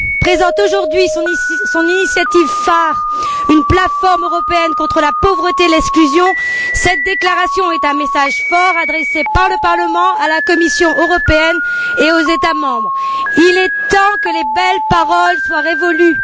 présente aujourd'hui son initiative phare, une plateforme européenne contre la pauvreté et l'exclusion, cette déclaration est un message fort adressé par le Parlement à la Commission européenne et aux États membres. Le temps des belles paroles est révolu.